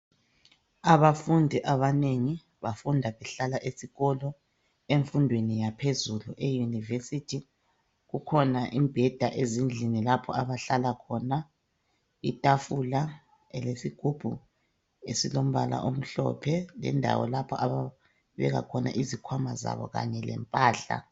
Emfundweni yaphezulu eyunivesi kukhona imbheda ezindlini lapho abahlala khona, itafula elesigubhu esilembola omhlophe lendawo lapho ababeka khona izikhwama zabo kanye lempahla.